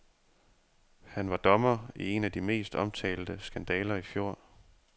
Han var dommer i en af de mest omtalte skandaler i fjor.